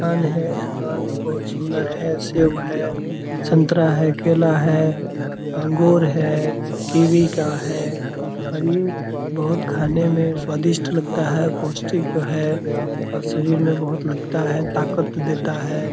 दुकान है दुकान बहुत सुंदर है सेब है संतरा है केला है अंगूर है कीवी का है और ये बहुत खाने में स्वादिष्ट लगता है पौष्टिक है और शरीर में बहुत लगता है ताकत देता है ।